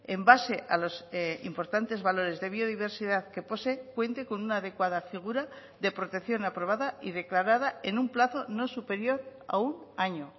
en base a los importantes valores de biodiversidad que posee cuente con una adecuada figura de protección aprobada y declarada en un plazo no superior a un año